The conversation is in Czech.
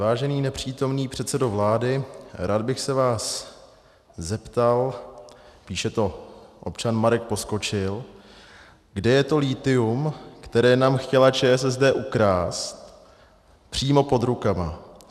Vážený nepřítomný předsedo vlády, rád bych se vás zeptal - píše to občan Marek Poskočil - kde je to lithium, které nám chtěla ČSSD ukrást přímo pod rukama?